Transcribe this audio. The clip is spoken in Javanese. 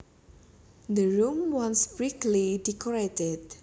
The room was brightly decorated